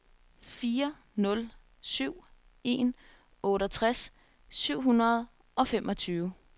fire nul syv en otteogtres syv hundrede og femogtyve